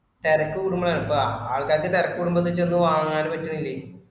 തിരക്ക് കുടുമ്പോഴാണ് ഇപ്പൊ ആൾക്കാർക്ക് തിരക്ക് കൂടുമ്പോ ചെന്ന് വാങ്ങാനും പറ്റണില്ലെ.